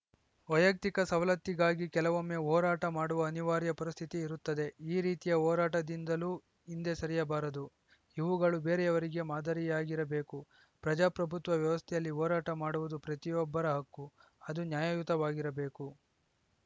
ವೈಯಕ್ತಿಕ ಸವಲತ್ತಿಗಾಗಿ ಕೆಲವೊಮ್ಮೆ ಹೋರಾಟ ಮಾಡುವ ಅನಿವಾರ್ಯ ಪರಿಸ್ಥಿತಿ ಇರುತ್ತದೆ ಈ ರೀತಿಯ ಹೋರಾಟದಿಂದಲೂ ಹಿಂದೆ ಸರಿಯಬಾರದು ಇವುಗಳು ಬೇರೆಯವರಿಗೆ ಮಾದರಿಯಾಗಿರ ಬೇಕು ಪ್ರಜಾಪ್ರಭುತ್ವ ವ್ಯವಸ್ಥೆಯಲ್ಲಿ ಹೋರಾಟ ಮಾಡುವುದು ಪ್ರತಿಯೊಬ್ಬರ ಹಕ್ಕು ಅದು ನ್ಯಾಯಯುತವಾಗಿರಬೇಕು